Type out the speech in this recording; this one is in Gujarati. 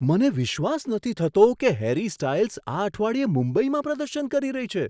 મને વિશ્વાસ નથી થતો કે હેરી સ્ટાઈલ્સ આ અઠવાડિયે મુંબઈમાં પ્રદર્શન કરી રહી છે.